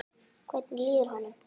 Hvernig líður honum?